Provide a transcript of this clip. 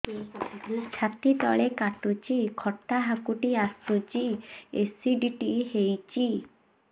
ଛାତି ତଳେ କାଟୁଚି ଖଟା ହାକୁଟି ଆସୁଚି ଏସିଡିଟି ହେଇଚି